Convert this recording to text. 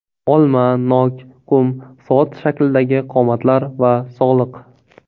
Olma, nok, qum soat shaklidagi qomatlar va sog‘liq.